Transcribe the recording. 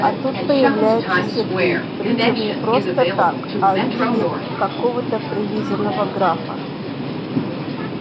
а тут появляется сергей причём не просто так а в виде какого-то прилизанного графа